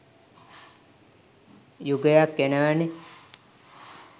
යුගයක් එනවනේ.